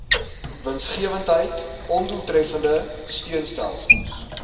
winsgewendheid ondoeltreffende steunstelsels